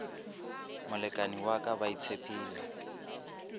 molekani wa ka ba itshepile